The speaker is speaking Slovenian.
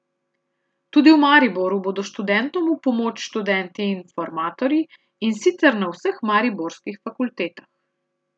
Tudi v Mariboru bodo študentom v pomoč študenti informatorji, in sicer na vseh mariborskih fakultetah.